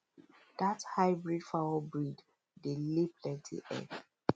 that hybrid fowl breed dey lay plenty egg